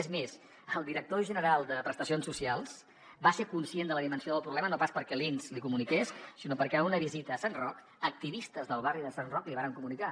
és més el director general de prestacions socials va ser conscient de la dimensió del problema no pas perquè l’inss l’hi comuniqués sinó perquè en una visita a sant roc activistes del barri de sant roc l’hi varen comunicar